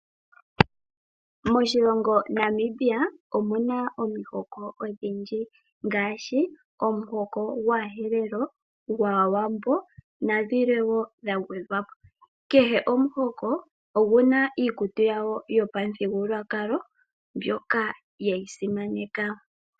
Moshilongo Namibia omu na omihoko odhindji ngaashi omuhoko gwAaherero, gwaAwambo nadhilwe woo dha gwedha po. Kehe omuhoko ogu na iikutu yago yopamuthigululwakalo mbyoka ye yi simaneka.